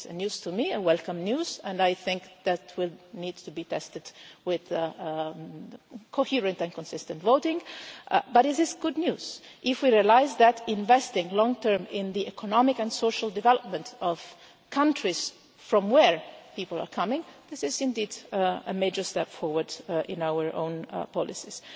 This is news to me, welcome news, and I think that will need to be tested with coherent and consistent voting, but this is good news if we realise that investing long term in the economic and social development of countries from where people are coming, is indeed a major step forward in our own policies.